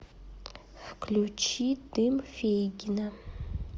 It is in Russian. включи дым фейгина